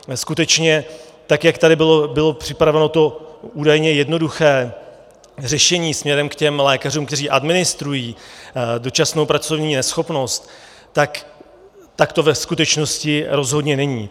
Skutečně tak jak tady bylo připraveno to údajně jednoduché řešení směrem k těm lékařům, kteří administrují dočasnou pracovní neschopnost, tak to ve skutečnosti rozhodně není.